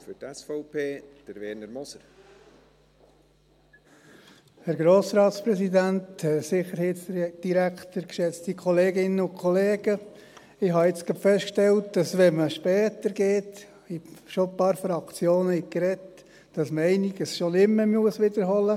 Ich habe gerade festgestellt, dass man einiges nicht mehr wiederholen muss, wenn man später spricht und schon einige Fraktionen gesprochen haben.